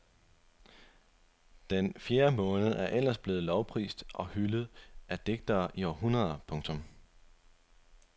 Den fjerde måned er ellers blevet lovprist og hyldet af digtere i århundreder. punktum